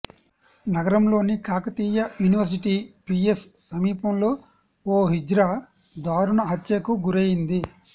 నగరంలోని Kakatiya university PS సమీపంలో ఓ హిజ్రా దారుణ హత్యకు గురైంది